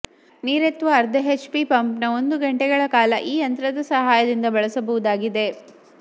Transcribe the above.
ನೀರೆತ್ತುವ ಅರ್ಧ ಎಚ್ಪಿ ಪಂಪ್ನ್ನು ಒಂದು ಗಂಟೆಗಳ ಕಾಲ ಈ ಯಂತ್ರದ ಸಹಾಯದಿಂದ ಬಳಸಬಹುದಾಗಿದೆ